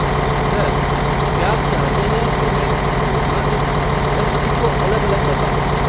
Sir, क्या आप चाहते हैं कि मैं इसकी घोषणा करूँ या सभी को अलग अलग बताऊँ?